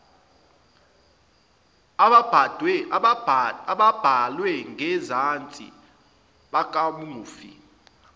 ababhalwe ngenzansi bakamufi